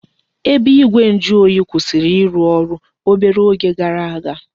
Ebe igwe njuoyi kwụsịrị ịrụ ọrụ obere oge gara aga